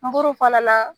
N b'olu fana na